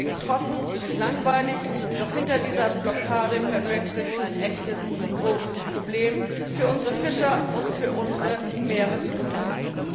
Das klingt trocken und langweilig, doch hinter dieser Blockade verbirgt sich ein echtes großes Problem für unsere Fischer und für unsere Meeresumwelt.